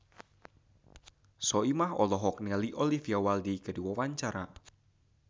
Soimah olohok ningali Olivia Wilde keur diwawancara